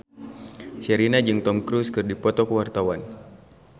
Sherina jeung Tom Cruise keur dipoto ku wartawan